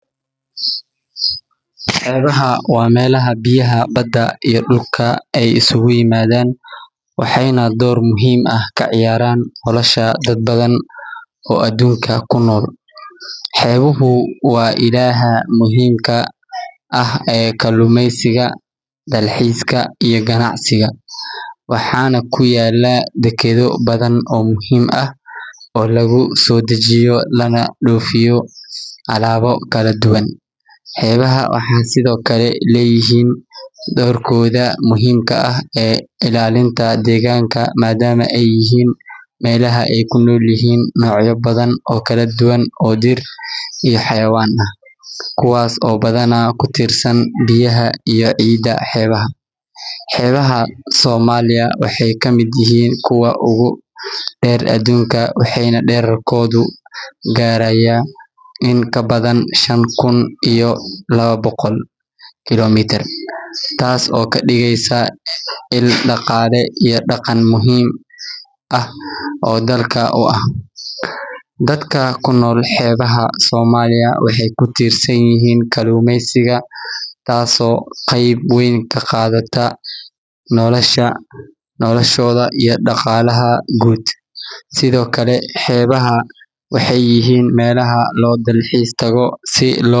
Xeebaha waa meelaha biyaha badda iyo dhulka ay isugu yimaadaan, waxayna door muhiim ah ka ciyaaraan nolosha dad badan oo adduunka ku nool. Xeebuhu waa ilaha muhiimka ah ee kalluumeysiga, dalxiiska, iyo ganacsiga, waxaana ku yaalla dekedo badan oo muhiim ah oo lagu soo dejiyo lana dhoofiyo alaabo kala duwan. Xeebaha waxay sidoo kale leeyihiin doorkooda muhiimka ah ee ilaalinta deegaanka, maadaama ay yihiin meelaha ay ku nool yihiin noocyo badan oo kala duwan oo dhir iyo xayawaan ah, kuwaas oo badanaa ku tiirsan biyaha iyo ciidda xeebaha. Xeebaha Soomaaliya waxay ka mid yihiin kuwa ugu dheer adduunka, waxayna dhererkoodu gaarayaa in ka badan shan kun iyo laba boqol kiiloomitir, taas oo ka dhigaysa il dhaqaale iyo dhaqan muhiim ah oo dalka u ah. Dadka ku nool xeebaha Soomaaliya waxay ku tiirsan yihiin kalluumeysiga, taasoo qayb weyn ka qaadata noloshooda iyo dhaqaalaha guud. Sidoo kale, xeebaha waxay yihiin meelaha loo dalxiis tago si loo.